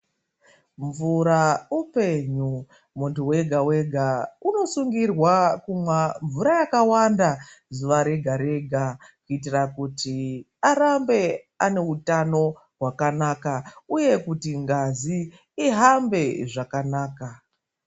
Mvura upenyu, muntu wega-wega unosungirwa kumwa mvura yakawanda zuva rega-rega, kuitira kuti arambe aneutano hwakanaka, uye kuti ngazi ihambe zvakanaka.